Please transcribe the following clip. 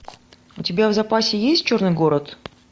у тебя в запасе есть черный город